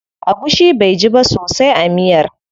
Agushi baiji ba sosai a miyar.